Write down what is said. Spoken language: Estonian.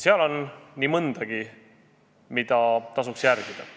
Seal on nii mõndagi, mida tasuks järgida.